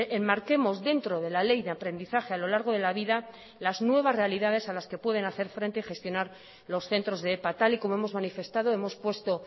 enmarquemos dentro de la ley de aprendizaje a lo largo de la vida las nuevas realidades a las que pueden hacer frente y gestionar los centros de epa tal y como hemos manifestado hemos puesto